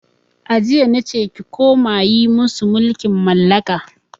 A jiya nace ki koma yi musu mulkin mallaka!